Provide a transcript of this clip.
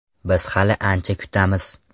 Biz hali ancha kutamiz.